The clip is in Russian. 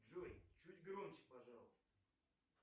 джой чуть громче пожалуйста